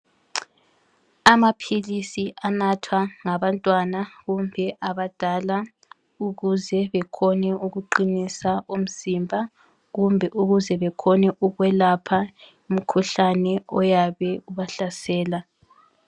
Amaphilisi anathwa ngabantwana kumbe abadala ukuze bekhone ukuqinisa umzimba kumbe ukwelapha umkhuhlane oyabe ubahlasela